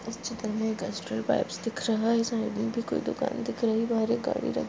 इस चित्र में एक एस्ट्रल पाइप्स दिख रहा है साइड में भी कोई दुकान दिख रही हे बाहर एक गाडी रखी --